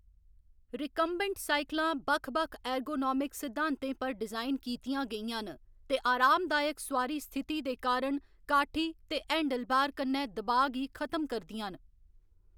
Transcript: Recumbent साइकलां बक्ख बक्ख एर्गोनोमिक सिद्धांतें पर डिजाइन कीतियां गेइयां न ते आरामदायक सुआरी स्थिति दे कारण काठी ते हैंडलबार कन्नै दबाऽ गी खत्म करदियां न।